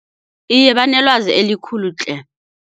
Iye banelwazi elikhulu tle.